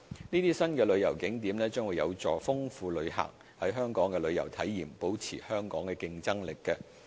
這些新旅遊景點將有助豐富旅客在港的旅遊體驗，保持香港的競爭力。